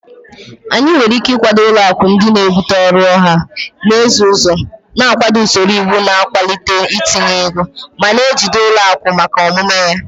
Anyị nwere ike ịkwado ụlọ akụ ndị na-ebute ọrụ ọha na eze ụzọ, na-akwado usoro iwu na-akwalite ntinye ego, ma na-ejide ụlọ akụ maka omume ha.